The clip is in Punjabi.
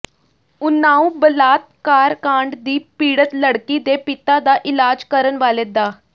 ਉਨਾਓ ਬਲਾਤਕਾਰ ਕਾਂਡ ਦੀ ਪੀੜਤ ਲੜਕੀ ਦੇ ਪਿਤਾ ਦਾ ਇਲਾਜ ਕਰਨ ਵਾਲੇ ਡਾ